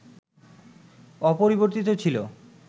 অপরিবর্তিত ছিল